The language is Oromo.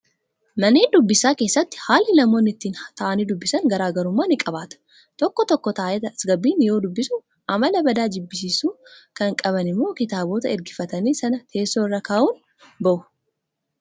Manneen dubbisaa keessatti haalli namoonni ittiin taa'anii dubbisan garaagarummaa ni qabaata. Tokko tokko taa'ee tasgabbiin yoo dubbisuu, Amala badaa jibbisiisu kan qaban immoo kitaabota ergifatan sana teessoo irra kaa'uun bahu.